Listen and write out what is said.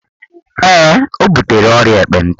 Ee, ọ butere ọrịa ekpenta